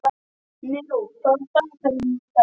Neró, hvað er á dagatalinu í dag?